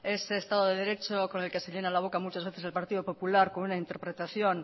ese estado de derecho con el que se llena la boca muchas veces el partido popular con una interpretación